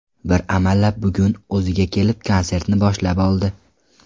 Bir amallab bugun o‘ziga kelib, konsertni boshlab oldi.